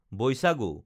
Baishagu